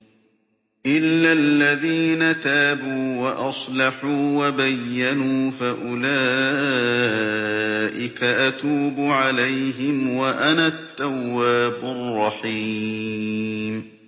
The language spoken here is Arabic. إِلَّا الَّذِينَ تَابُوا وَأَصْلَحُوا وَبَيَّنُوا فَأُولَٰئِكَ أَتُوبُ عَلَيْهِمْ ۚ وَأَنَا التَّوَّابُ الرَّحِيمُ